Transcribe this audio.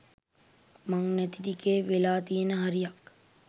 මං නැති ටිකේ වෙලා තියෙන හරියක්